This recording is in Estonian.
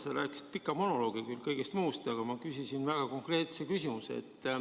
Sa rääkisid pika monoloogi küll kõigest muust, aga ma küsisin väga konkreetse küsimuse.